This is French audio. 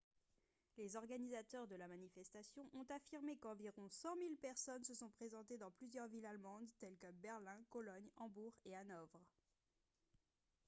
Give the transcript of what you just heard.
les organisateurs de la manifestation ont affirmé qu'environ 100 000 personnes se sont présentées dans plusieurs villes allemandes telles que berlin cologne hambourg et hanovre